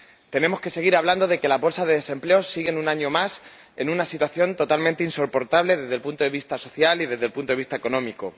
Tenemos que seguir hablando de que las bolsas de desempleo siguen, un año más, en una situación totalmente insoportable desde el punto de vista social y desde el punto vista económico